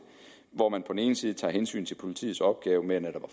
hvor man på den ene side tager hensyn til politiets opgave med netop at